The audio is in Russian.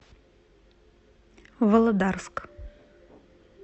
володарск